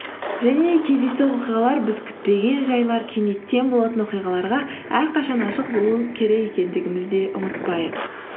және кездейсоқ оқиғалар біз күтпеген жайлар кенеттен болатын оқиғаларға әрқашан ашық болу керек екендігіміз де ұмытпайық